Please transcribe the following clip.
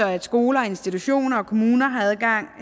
at skoler institutioner og kommuner har adgang